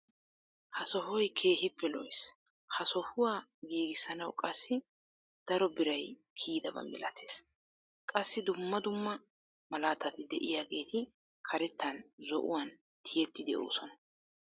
Ha sohoy keehippe lo"ees. Ha sohuwaa giigissanawu qassi daro biray kiyidaba milatees. Qassi dumma dumma malaatati de'iyaageti karettan zo"uwaan tiyetti de'oosona.